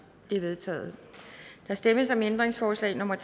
de er vedtaget der stemmes om ændringsforslag nummer